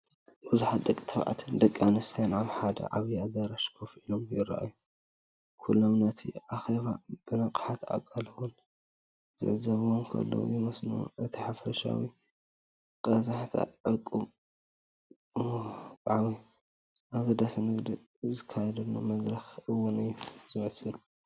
ብዙሓት ደቂ ተባዕትዮን ደቂ ኣንስትዮን ኣብ ሓደ ዓቢ ኣዳራሽ ኮፍ ኢሎም ይረኣዩ። ኩሎም ነቲ ኣኼባ ብንቕሓትን ኣቓልቦን ዝዕዘብዎ ዘለዉ ይመስሉ። እቲ ሓፈሻዊ ቀዛሕታ ዕቱብ፣ ወግዓዊን ኣገዳስን ንግዲ ዝካየደሉ መድረኽ እውን እዩ ዝመስል።